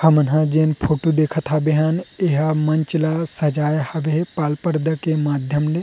हामन हा जेन फोटो देखत हाबे हान इहा मंच ला सजाए हाबे पाल पर्दा के माध्यम ले --